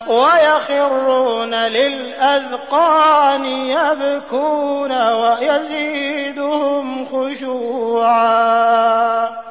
وَيَخِرُّونَ لِلْأَذْقَانِ يَبْكُونَ وَيَزِيدُهُمْ خُشُوعًا ۩